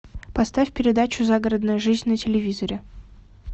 поставь передачу загородная жизнь на телевизоре